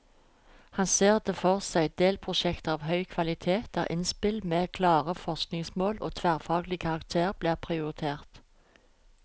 Han ser for seg delprosjekter av høy kvalitet, der innspill med klare forskningsmål og tverrfaglig karakter blir prioritert.